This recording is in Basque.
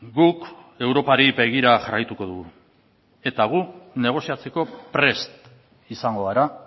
guk europari begira jarraituko dugu eta guk negoziatzeko prest izango gara